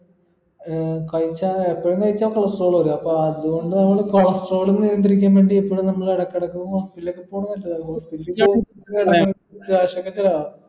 ഏർ കഴിച്ചാല് എപ്പോളും കഴിച്ചാ cholestrol വരും അപ്പൊ അത്കൊണ്ട് നമ്മൾ cholestrol നിയന്ത്രിക്കുന്ന case ല് നമ്മൾ ഇടക്കിടക്ക് hospital ഒക്കെ പോണെ നല്ലതാ hospital cash ഒക്കെ ചിലവാ